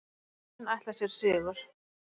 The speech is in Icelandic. Heimamenn ætla sér sigur